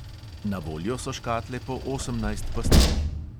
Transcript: Na voljo so škatle po osemnajst pastil.